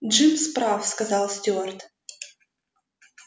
джимс прав сказал стюарт